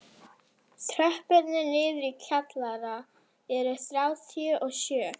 Tröppurnar niður í kjallara eru þrjátíu og sjö.